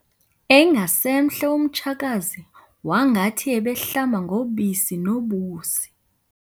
engasemhle umtshakazi wangathi ebehlamba ngobisi nobusi.